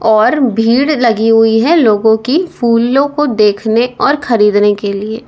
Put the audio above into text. और भीड़ लगी हुई है लोगों की फूलों को देखने और खरीदने के लिए।